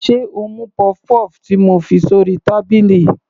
Sé o mú puff-puff ti mo fi sórí tábìlì.